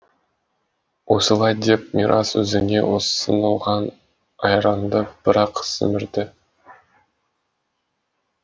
осылай деп мирас өзіне ұсынылған айранды бір ақ сімірді